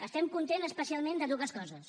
estem contents especialment de dues coses